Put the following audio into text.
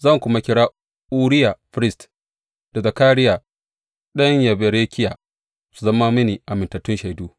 Zan kuma kira Uriya firist da Zakariya ɗan Yeberekiya su zama mini amintattun shaidu.